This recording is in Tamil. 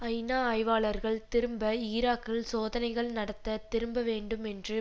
ஐநா ஆய்வாளர்கள் திரும்ப ஈராக்கில் சோதனைகள் நடத்த திரும்ப வேண்டும் என்று